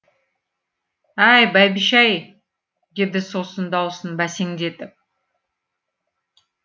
әй бәйбіше ай деді сосын даусын бәсеңдетіп